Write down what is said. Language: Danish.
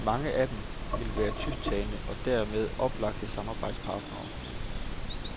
Mange af dem vil være tysktalende og dermed oplagte samarbejdspartnere.